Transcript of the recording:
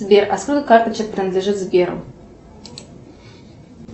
сбер а сколько карточек принадлежит сберу